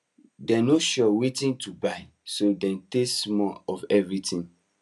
dem no sure wetin to buy so dem taste small of everything